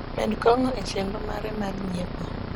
med kong` e chenro mare mar nyiepo